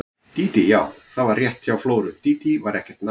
Dídí, já, það var rétt hjá Flóru, Dídí var ekkert nafn.